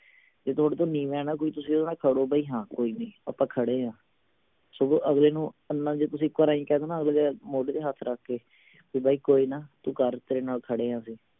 ਜੇ ਥੋਡੇ ਤੋਂ ਨੀਵਾਂ ਹੈ ਨਾ ਕੋਈ ਤੁਸੀਂ ਓਹਦੇ ਨਾਲ ਖੜੋ ਬਈ ਹਾਂ ਕੋਈ ਨੀ ਆਪਾਂ ਖੜੇ ਆ ਸਗੋਂ ਅਗਲੇ ਨੂੰ ਇੰਨਾ ਜੇ ਇਕ ਵਰੀ ਆਏਂ ਕਹਿ ਦੋ ਨਾ ਅਗਲੇ ਦੇ ਮੌਢੇ ਤੇ ਹੱਥ ਰੱਖ ਕੇ ਵੀ ਬਾਈ ਕੋਈ ਨਾ ਤੂੰ ਕਰ ਤੇਰੇ ਨਾਲ ਖੜੇ ਆ ਅਸੀਂ।